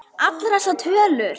Allar þessar tölur.